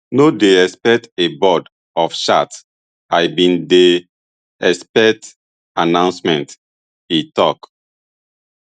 no dey expect a board [of charts] i bin dey expect announcement e tok